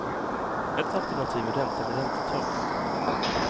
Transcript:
Ett alternativ är ränta med räntetak.